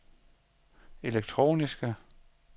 elektroniske